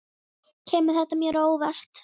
Kemur þetta mér á óvart?